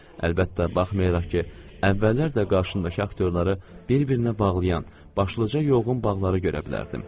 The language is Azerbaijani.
Əlbəttə, baxmayaraq ki, əvvəllər də qarşımdakı aktyorları bir-birinə bağlayan başlıca yoğun bağları görə bilərdim.